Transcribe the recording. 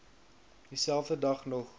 dieselfde dag nog